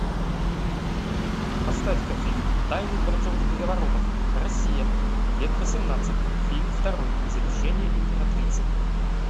поставь ка фильм тайны дворцовых переворотов россия век восемнадцатый фильм второй завещание императрицы